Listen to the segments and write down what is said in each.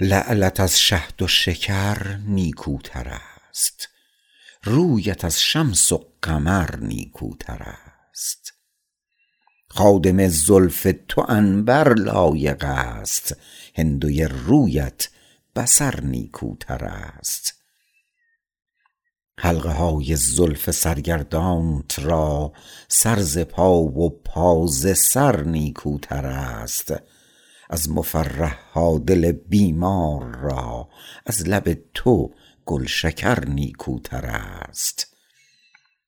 لعلت از شهد و شکر نیکوتر است رویت از شمس و قمر نیکوتر است خادم زلف تو عنبر لایق است هندوی رویت بصر نیکوتر است حلقه های زلف سرگردانت را سر ز پا و پا ز سر نیکوتر است از مفرح ها دل بیمار را از لب تو گلشکر نیکوتر است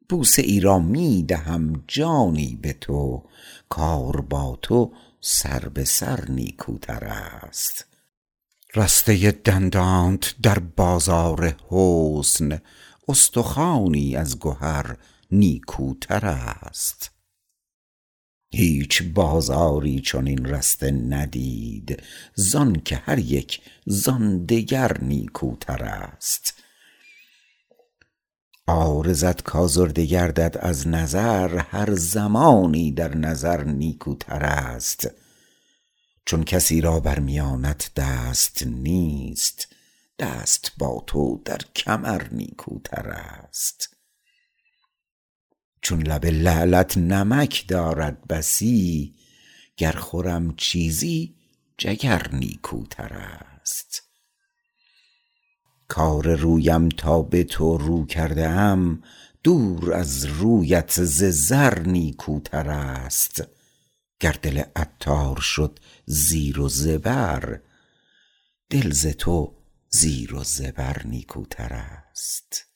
بوسه ای را می دهم جانی به تو کار با تو سر به سر نیکوتر است رسته دندانت در بازار حسن استخوانی از گهر نیکوتر است هیچ بازاری چنان رسته ندید زانکه هریک زان دگر نیکوتر است عارضت کازرده گردد از نظر هر زمانی در نظر نیکوتر است چون کسی را بر میانت دست نیست دست با تو در کمر نیکوتر است چون لب لعلت نمک دارد بسی گر خورم چیزی جگر نیکوتر است کار رویم تا به تو رو کرده ام دور از رویت ز زر نیکوتر است گر دل عطار شد زیر و زبر دل ز تو زیر و زبر نیکوتر است